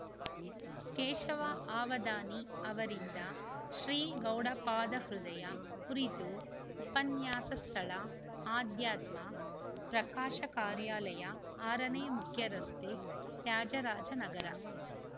ಕೇಶವ ಅವಧಾನಿ ಅವರಿಂದ ಶ್ರೀ ಗೌಡಪಾದಹೃದಯ ಕುರಿತು ಉಪನ್ಯಾಸ ಸ್ಥಳಅಧ್ಯಾತ್ಮ ಪ್ರಕಾಶ ಕಾರ್ಯಾಲಯ ಆರನೇ ಮುಖ್ಯರಸ್ತೆ ತ್ಯಾಜರಾಜನಗರ